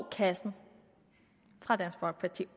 kassen fra dansk folkeparti